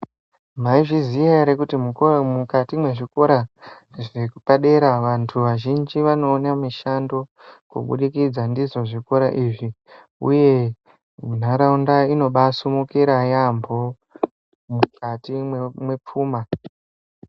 Maizviziya ere kuti mukuwo mukati mwezvikora zvepadera vantu vazhinji vanoone mishando, kuburikidza ndizvo zvikora izvi, uye ntaraunda inobaasumukira yaamho, mukati mwemwepfuma.